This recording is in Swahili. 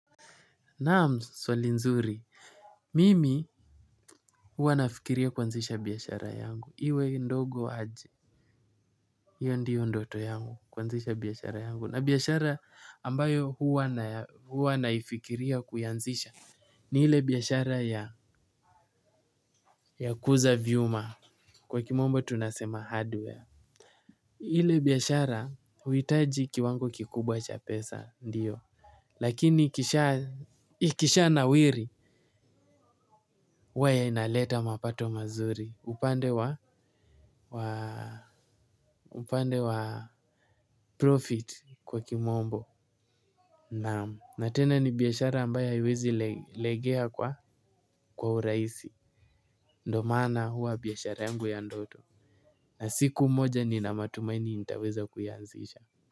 Naam, swali nzuri, mimi huwa nafikiri kuanzisha biashara yangu, iwe ndogo aje, hiyo ndio ndoto yangu, kuanzisha biashara yangu, na biashara ambayo huwa naifikiria kuanzisha ni ile biashara ya kuuza vyuma, kwa kimombo tunasema hardware, ile biashara huhitaji kiwango kikubwa cha pesa, ndiyo. Lakini ikishanawiri huwa ya inaleta mapato mazuri. Upande wa profit kwa kimombo na tena ni biashara ambayo haiwezi legea kwa urahisi. Ndo maana huwa biashara yangu ya ndoto. Na siku moja nina matumaini nitaweza kuianzisha Muzika.